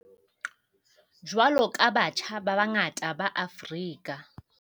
Jwalo ka batjha ba bangata ba Afrika